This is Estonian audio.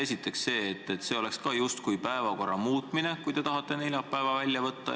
Esiteks see, et see oleks samuti justkui päevakorra muutmine, kui tahate neljapäeva välja võtta.